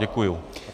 Děkuji.